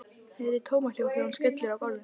Heyri tómahljóð þegar hún skellur á gólfinu.